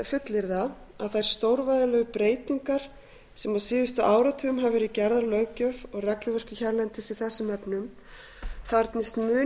fullyrða að þær stórvægilegu breytingar sem á síðustu áratugum hafa verið gerðar á löggjöf og regluverki hérlendis í þessum efnum þarfnist mun